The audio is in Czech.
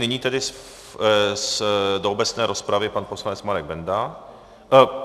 Nyní tedy do obecné rozpravy pan poslanec Marek Benda...